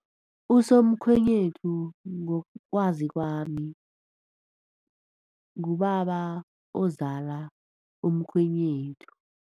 Usomkhwenyethu ngokwazi kwami ngubaba ozala umkhwenyethu.